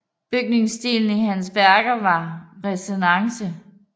Bygningsstilen i hans værker var renæssance